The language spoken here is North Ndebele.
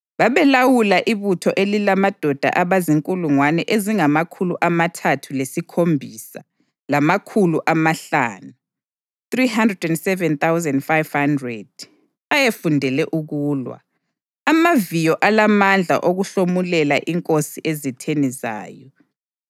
Babelawula ibutho elilamadoda abazinkulungwane ezingamakhulu amathathu lesikhombisa lamakhulu amahlanu (307,500) ayefundele ukulwa, amaviyo alamandla okuhlomulela inkosi ezitheni zayo.